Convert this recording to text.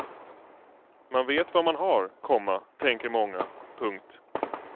Man vet vad man har, komma tänker många. punkt